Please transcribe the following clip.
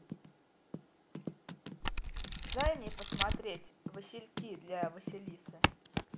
дай мне посмотреть васильки для василисы